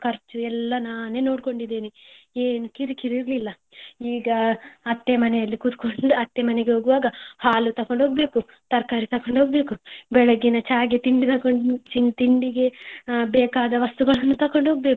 ಖರ್ಚು ಎಲ್ಲ ನಾನೇ ನೋಡ್ಕೊಂಡಿದ್ದೇನೆ ಏನೂ ಕಿರಿಕಿರಿ ಇರ್ಲಿಲ್ಲ. ಈಗ ಅತ್ತೆ ಮನೆಯಲ್ಲಿ ಕುತ್ಕೊಂಡು ಅತ್ತೆ ಮನೆಗೆ ಹೋಗ್ವಾಗ ಹಾಲು ತೊಕೊಂಡು ಹೋಗ್ಬೇಕು, ತರಕಾರಿ ತೊಕೊಂಡು ಹೋಗ್ಬೇಕು, ಬೆಳಿಗ್ಗೆ ಚಗೆ ತಿಂಡಿ ತೊಕೋ, ತಿಂಡಿಗೆ ಬೇಕಾದ ವಸ್ತು ತೊಕೊಂಡು ಹೋಗ್ಬೇಕು.